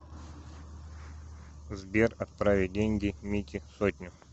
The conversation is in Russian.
сбер отправить деньги мите сотню